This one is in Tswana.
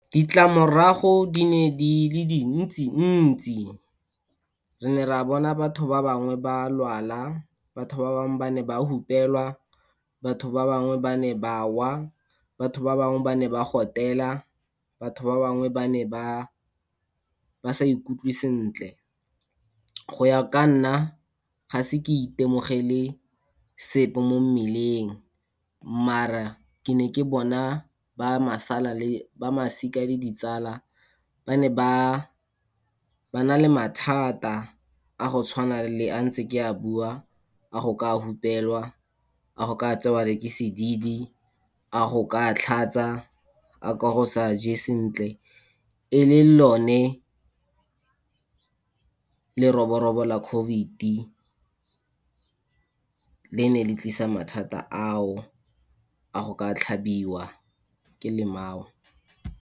Ditlamorago di ne di le dintsi-ntsi. Re ne re a bona batho ba bangwe ba lwala, batho ba bangwe ba ne ba hupelwa, batho ba bangwe ba ne ba wa, batho ba bangwe ba ne ba gotela, batho ba bangwe ba ne ba, ba sa ikutlwe sentle. Go ya ka nna, gaise ke itemogele sepe mo mmeleng, maar-a ke ne ke bona ba le, ba masika le ditsala ba ne ba na le mathata, a go tshwana le a ntse ke a bua, a go ka hupelwa, a go ka tsewa le ke sedidi, a go ka tlhatsa, a go ka se je sentle, e le lone leroborobo la COVID le ne le tlisa mathata a o, a go ka tlhabiwa ke lemao.